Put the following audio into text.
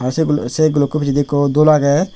se guluk se gulokko pisseydi ekko dul agey.